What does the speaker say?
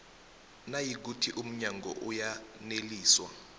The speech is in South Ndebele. nayikuthi umnyango uyaneliswa